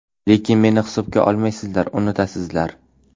Lekin meni hisobga olmaysizlar, unutasizlar.